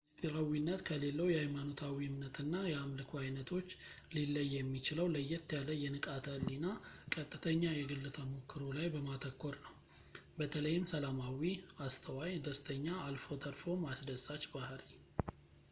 ምስጢራዊነት ከሌላው የኃይማኖታዊ እምነት እና የአምልኮ ዓይነቶች ሊለይ የሚችለው ለየት ያለ የንቃተ ህሊና ቀጥተኛ የግል ተሞክሮ ላይ በማተኮር ነው ፣ በተለይም ሰላማዊ ፣ አስተዋይ ፣ ደስተኛ ፣ አልፎ ተርፎም አስደሳች ባህሪ